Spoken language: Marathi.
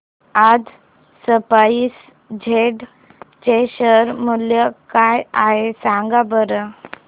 आज स्पाइस जेट चे शेअर मूल्य काय आहे सांगा बरं